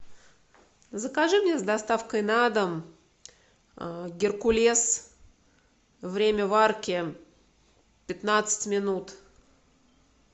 закажи мне с доставкой на дом геркулес время варки пятнадцать минут